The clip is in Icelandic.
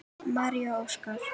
María og Óskar.